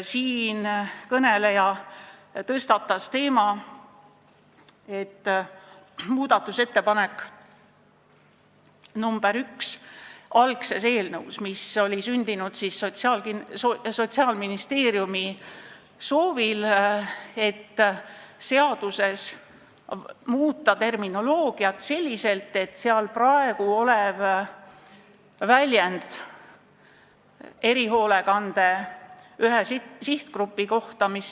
Siinkõneleja tõstatas teema, et algse eelnõu muudatusettepanek nr 1, mis oli sündinud Sotsiaalministeeriumi soovil, nägi ette muuta seaduse terminoloogiat selliselt, et muudetaks praegu erihoolekande ühe sihtgrupi kohta kasutatavat väljendit.